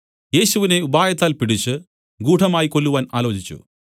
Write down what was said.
യേശുവിനെ ഉപായത്താൽ പിടിച്ച് ഗൂഢമായി കൊല്ലുവാൻ ആലോചിച്ചു